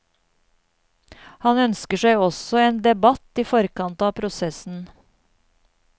Han ønsker seg også en debatt i forkant av prosessen.